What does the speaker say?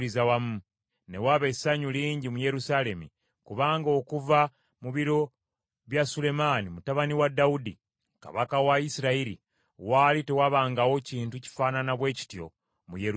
Ne waba essanyu lingi mu Yerusaalemi kubanga okuva mu biro bya Sulemaani mutabani wa Dawudi kabaka wa Isirayiri, waali tewabangawo kintu kifaanana bwe kityo mu Yerusaalemi.